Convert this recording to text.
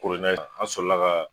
an sɔrɔla ka